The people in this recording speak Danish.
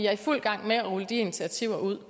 er i fuld gang med at rulle de initiativer ud